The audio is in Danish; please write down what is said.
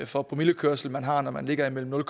for promillekørsel man har når man ligger mellem nul